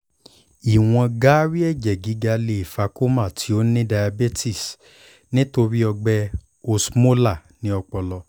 iwọn gaari ẹjẹ giga le fa coma ti o ni diabetes nitori ọgbẹ osmolar ni ọpọlọ